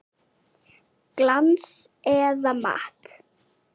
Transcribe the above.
Glans eða matt?